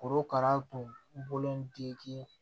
Korokara tun bolo